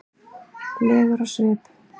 legur á svip.